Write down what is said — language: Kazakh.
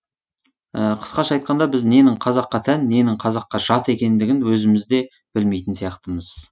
қысқаша айтқанда біз ненің қазаққа тән ненің қазаққа жат екендігін өзіміз де білмейтін сияқтымыз